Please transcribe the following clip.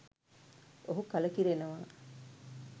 ඔහු කලකිරෙනවා.